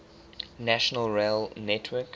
national rail network